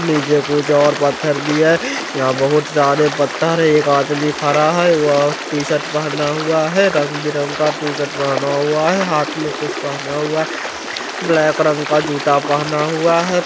नीचे कुछ और पत्थर भी हैं यहाँ बहोत सारे पत्थर हैं एक आदमी खड़ा है वह टी-शर्ट पहना हुआ है रंग-बिरंग का टी-शर्ट पहना हुआ है हाथ में कुछ पहना हुआ है ब्लैक रंग का जूता पहना हुआ है।